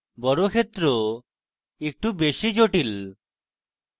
বর্গক্ষেত্র একটু বেশী জটিল